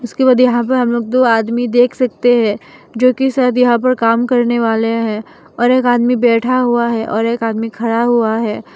उसके बाद यहां पे हम लोग दो आदमी देख सकते हैं जो कि शायद यहां पर काम करने वाले हैं और एक आदमी बैठा हुआ है और एक आदमी खड़ा हुआ है।